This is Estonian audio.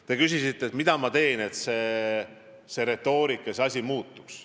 Te küsisite, mida ma teen, et see retoorika muutuks.